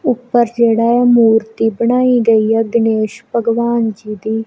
ਉਪਰ ਜਿਹੜਾ ਮੂਰਤੀ ਬਣਾਈ ਗਈ ਆ ਗਣੇਸ਼ ਭਗਵਾਨ ਜੀ ਦੀ।